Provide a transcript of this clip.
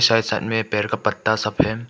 सामने में पेड़ का पत्ता सब है।